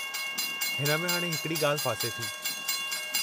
हिन में हाणे हिकड़ी ॻाल्हि फासे थी।